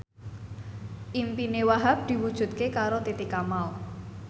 impine Wahhab diwujudke karo Titi Kamal